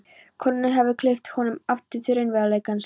Konurnar höfðu kippt honum aftur til raunveruleikans.